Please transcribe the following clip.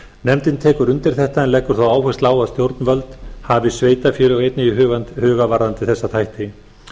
nefndin tekur undir þetta en leggur þó áherslu á að stjórnvöld hafi sveitarfélög einnig í huga varðandi þessa þætti